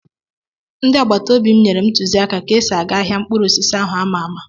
Ndị agbata obi m nyere m ntụziaka ka esị aga ahịa mkpụrụ osisi áhù a mà àmà